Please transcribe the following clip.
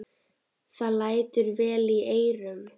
Það lætur vel í eyrum.